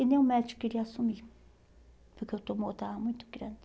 E nem o médico queria assumir, porque o tumor estava muito grande.